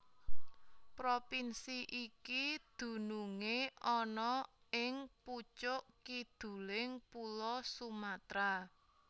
Propinsi iki dunungé ana ing pucuk kiduling pulo Sumatra